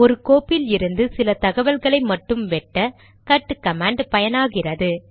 ஒரு கோப்பிலிருந்து சில தகவல்களை மட்டும் வெட்ட கட் கமாண்ட் பயனாகிறது